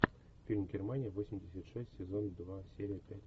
фильм германия восемьдесят шесть сезон два серия пять